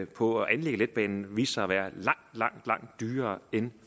på at anlægge letbanen viste sig at være langt langt dyrere end